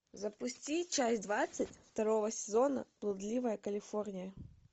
запусти часть двадцать второго сезона блудливая калифорния